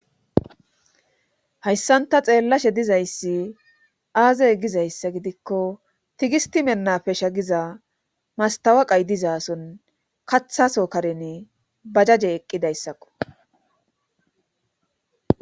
hayssanta xeellashe dizayssi aazey gizayssa gidikko tigisti mennapesha giza mastawaqay diza son kathaso karene bajaje eqqidayssakko